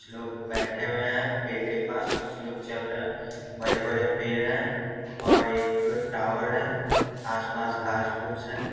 लोग बैठे हुए हैं पेड़ के पास कुछ लोग चल रहे हैं बड़े-बड़े पेड़ हैं और एक टॉवर है आस-पास घास फूस है।